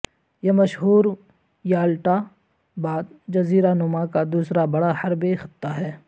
یہ مشہور یالٹا بعد جزیرہ نما کا دوسرا بڑا حربے خطہ ہے